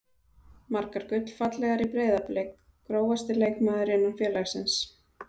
Margar gullfallegar í Breiðablik Grófasti leikmaður innan félagsins?